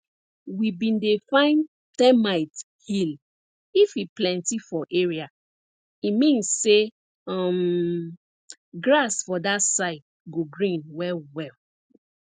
we bin dey find termite hill if e plenty for area e mean say um grass for that side go green well well